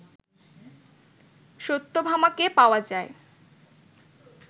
সত্যভামাকে পাওয়া যায়